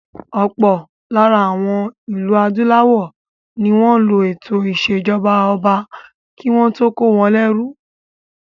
Ọ̀pọ̀ lára àwọn ìlú adúláwọ̀ ní wọ́n lo ètò ìṣèjọba ọba kí wọ́n tó kó wọn lérú.